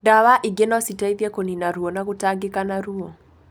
Ndawa ingĩ no citeithie kũnina ruo na gũtangika na ruo.